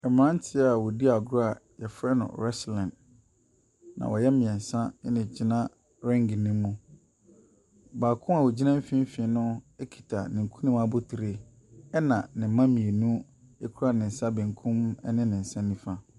Mmeranteɛ a wɔdi agorɔ a wɔfrɛ no wrestling, na wɔyɛ mmeɛnsa na wɔgyina ring no mu. Baako baako a ɔgyina mfimfini no kita ne nkunim abotire. Ɛna ne mma mmienu kura ne nsa benkum ne ne nsa nifa.